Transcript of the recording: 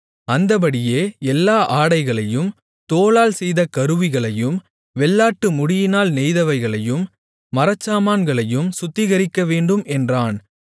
அந்தப்படியே எல்லா ஆடைகளையும் தோலால் செய்த கருவிகளையும் வெள்ளாட்டுமுடியினால் நெய்தவைகளையும் மரச்சாமான்களையும் சுத்திகரிக்கவேண்டும் என்றான்